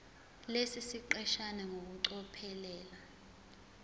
lesi siqeshana ngokucophelela